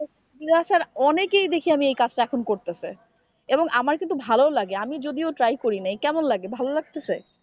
অনেকেই দেখি আমি এই কাজটা এখন করতেছে এবং আমার কিন্তু ভালো লাগে আমি যদি try করিনাই কেমন লাগে ভালো লাগতেছে?